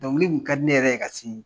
Dɔnkili kun ka di ne yɛrɛ ye ka sini